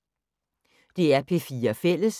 DR P4 Fælles